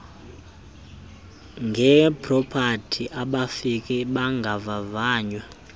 ngepropati abafiki bangavavanywa